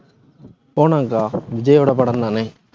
போகணும்கா விஜயோட படம்தானே